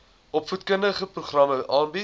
opvoedkundige programme aanbied